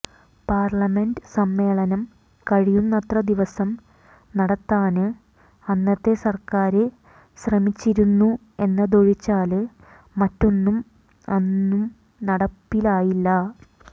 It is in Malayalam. പാര്ലമെന്റ് സമ്മേളനം കഴിയുന്നത്ര ദിവസം നടത്താന് അന്നത്തെ സര്ക്കാര് ശ്രമിച്ചിരുന്നു എന്നതൊഴിച്ചാല് മറ്റൊന്നും അന്നും നടപ്പിലായില്ല